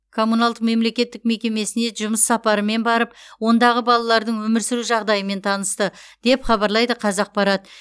камуналдық мемлекеттік мекемесіне жұмыс сапарымен барып ондағы балалардың өмір сүру жағдайымен танысты деп хабарлайды қазақпарат